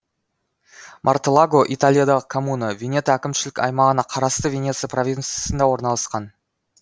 мартеллаго италиядағы коммуна венето әкімшілік аймағына қарасты венеция провинссында орналасқан